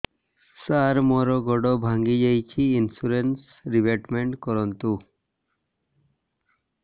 ସାର ମୋର ଗୋଡ ଭାଙ୍ଗି ଯାଇଛି ଇନ୍ସୁରେନ୍ସ ରିବେଟମେଣ୍ଟ କରୁନ୍ତୁ